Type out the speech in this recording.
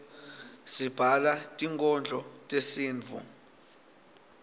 sibhala tinkhondlo tesintfu